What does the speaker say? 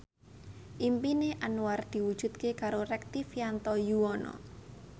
impine Anwar diwujudke karo Rektivianto Yoewono